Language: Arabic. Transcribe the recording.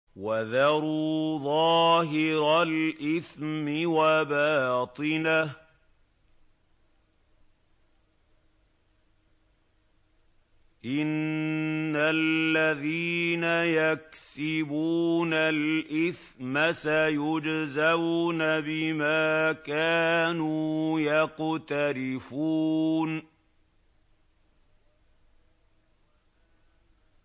وَذَرُوا ظَاهِرَ الْإِثْمِ وَبَاطِنَهُ ۚ إِنَّ الَّذِينَ يَكْسِبُونَ الْإِثْمَ سَيُجْزَوْنَ بِمَا كَانُوا يَقْتَرِفُونَ